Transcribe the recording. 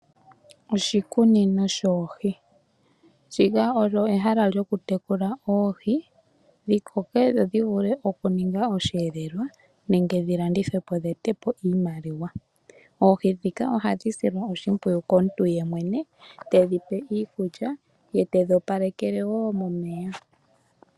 Oshikunino shoohi Ndika olyo ehala lyoku tekula oohi, dhi koke dho dhi vule okuninga osheelelwa nenge dhi landithwe po, dhi e te po iimaliwa. Oohi ndhika ohadhi silwa oshimpwiyu komuntu yemwene, tedhi pe iikulya, ye tedhi opalekele wo momeya.